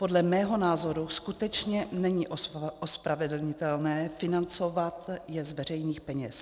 Podle mého názoru skutečně není ospravedlnitelné financovat je z veřejných peněz.